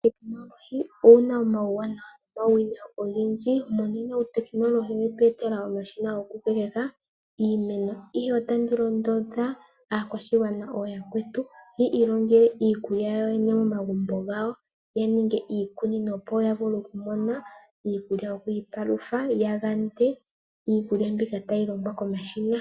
Uutekinolohi owuna omauwanawa nomauwinayi ogendji. Monena uutekinolohi owetu etela omashina goku kokeka iimeno, ihe otandi londodha aakwashigwana ooyakwetu ya ilongele iikulya yawo yene momagumbo gawo, ya ninge iikunino opo ya vule iikulya yoku ipalutha, ya yande iikulya mbika tayi longwa komashina.